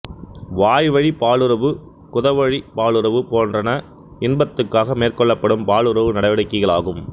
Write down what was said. வாய்வழிப் பாலுறவு குதவழிப் பாலுறவு போன்றன இன்பத்துக்காக மேற்கொள்ளப்படும் பாலுறவு நடவடிக்கைகளாகும்